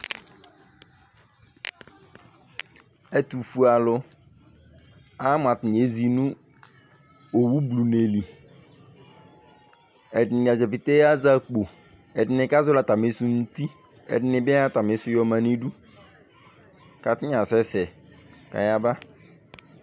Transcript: Ɛtʋfuealʋ Ama mʋ atanɩ ezi nʋ owublune li Ɛdɩnɩ ata dza pete azɛ akpo Ɛdɩnɩ kazɔɣɔlɩ atamɩsʋ nʋ uti Ɛdɩnɩ bɩ ayɔ atamɩsʋ yɔma nʋ idu kʋ atanɩ asɛsɛ kʋ ayaba